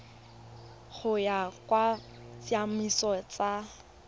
go ya ka ditsamaiso tsa